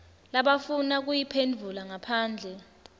labafuna kuyiphendvula ngaphandle